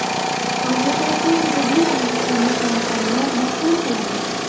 Hozirda Lxasada besh yulduzli mehmonxonalar barpo qilindi.